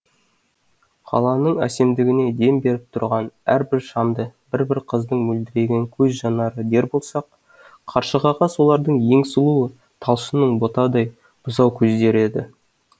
қаланың әсемдігіне дем беріп тұрған әрбір шамды бір бір қыздың мөлдіреген көз жанары дер болсақ қаршығаға солардың ең сұлуы талшынның ботадай бұзау көздері еді